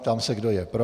Ptám se, kdo je pro.